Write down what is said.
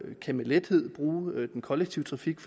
lethed bruge den kollektive trafik